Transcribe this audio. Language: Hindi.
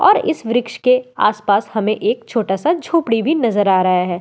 और इस वृक्ष के आस पास हमें एक छोटा सा झोपड़ी भी नजर आ रहा है।